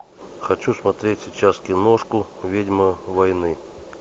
хочу смотреть сейчас киношку ведьма войны